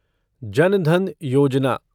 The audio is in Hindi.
जन धन योजना